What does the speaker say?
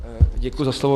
Děkuji za slovo.